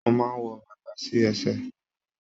Mo máa n wọ bàtà sí ẹsẹ.